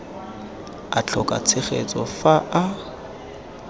a tlhoka tshegetso fa a